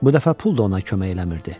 Bu dəfə pul da ona kömək eləmirdi.